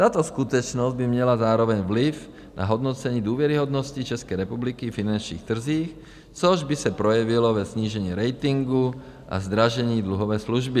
Tato skutečnost by měla zároveň vliv na hodnocení důvěryhodnosti České republiky na finančních trzích, což by se projevilo ve snížení ratingu a zdražení dluhové služby.